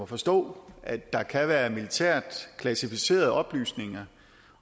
forstå at der kan været militært klassificerede oplysninger